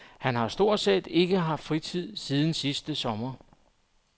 Han har stort set ikke haft fritid siden sidste sommer.